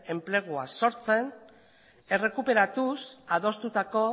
enplegua sortzen errekuperatuz adostutako